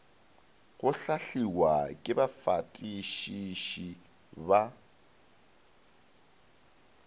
go hlahliwa ke bafatišiši ba